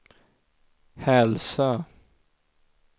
Hälsö